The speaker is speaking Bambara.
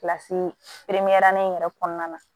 Kilasi pepeperali in yɛrɛ kɔnɔna na